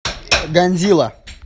годзилла